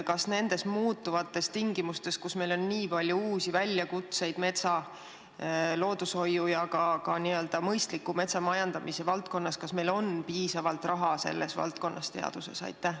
Kas nendes muutuvates tingimustes, kus meil on nii palju uusi väljakutseid metsa, loodushoiu ja ka mõistliku metsamajandamise valdkonnas, on meil piisavalt raha selle valdkonna teaduses?